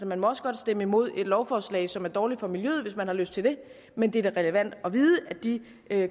man må også godt stemme imod lovforslag som er dårlige for miljøet hvis man har lyst til det men det er da relevant at vide at de